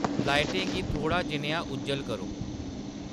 लाइटें गी थोह्डा जनेहा उज्जल करो